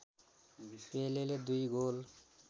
पेलेले दुई गोल